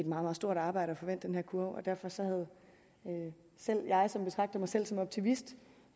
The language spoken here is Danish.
meget stort arbejde at få vendt den kurve så selv jeg som betragter mig selv som optimist